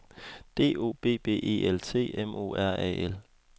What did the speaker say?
D O B B E L T M O R A L